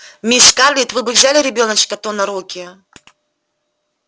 мисс скарлетт вы бы взяли ребёночка-то на руки